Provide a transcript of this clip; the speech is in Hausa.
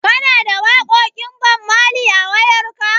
Kana da waƙoƙin Bammali a wayarka?